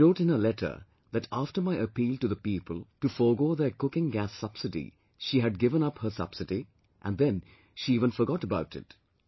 She wrote in her letter that after my appeal to the people to forego their cooking gas subsidy, she had given up her subsidy and then she even forgot about it